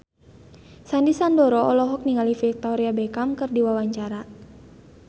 Sandy Sandoro olohok ningali Victoria Beckham keur diwawancara